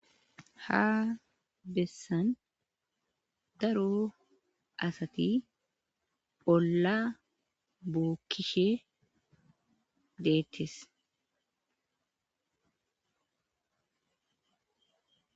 ha bessan daro asati olla bookkishe deettes